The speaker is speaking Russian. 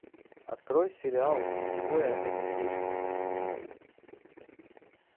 открой сериал двое это слишком